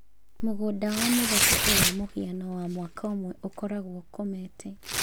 Mũgũnda wa mĩthabibũ wa mũhiano wa mwaka ũmwe ũkoragwo ũkomete.